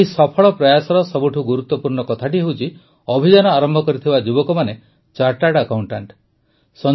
ଏହି ସଫଳ ପ୍ରୟାସର ସବୁଠୁ ଗୁରୁତ୍ୱପୂର୍ଣ୍ଣ କଥାଟି ହେଉଛି ଅଭିଯାନ ଆରମ୍ଭ କରିଥିବା ଯୁବକମାନେ ଚାର୍ଟାର୍ଡ ଆକାଉଂଟାଂଟ